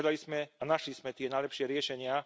Hľadali sme a našli sme tie najlepšie riešenia.